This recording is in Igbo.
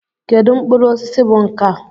Kedu mkpụrụ osisi bụ nkà?